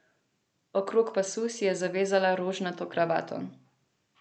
Okrog pasu si je zavezala rožnato kravato.